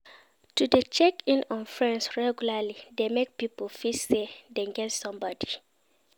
To check in on friends regularly de make pipo feel say Dem get somebody